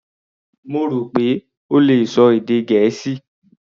Mo rò pé ó le ṣọ èdè Gẹ̀ẹ́sì.